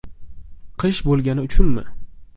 Qish bo‘lgani uchunmi?